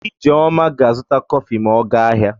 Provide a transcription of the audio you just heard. Ijeoma ga-azụta kọfị ma ọ gaa ahịa.